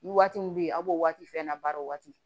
Waati min bɛ ye a b'o waati fɛnɛna baara o waati